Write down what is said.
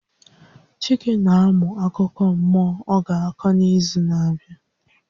Chike na amụ akụkọ mmụọ ọ ga-akọ n'izu na-abịa.